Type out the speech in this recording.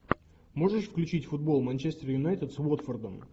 можешь включить футбол манчестер юнайтед с уотфордом